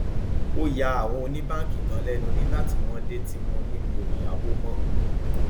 ó ya àwọn oníbáǹkì ganan lẹnu nígbà tí wọn dé tí mo ní mi ò yáwó mọ